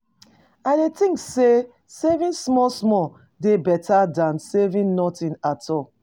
I dey think say saving small small dey beta than saving nothing at all.